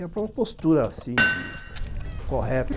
E a própria postura, assim de, correta.